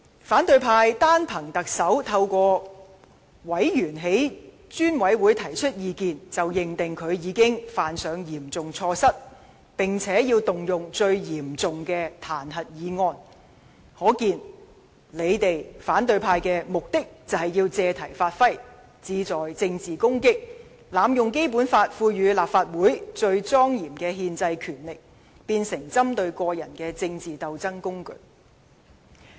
反對派議員單憑特首通過委員在專責委員會提出意見，便認定他已犯上嚴重錯失，並且動用最嚴重的彈劾議案，可見他們只是借題發揮，志在政治攻擊，並濫用《基本法》賦予立法會最莊嚴的憲制權力，將之變成針對個人的政治鬥爭工具。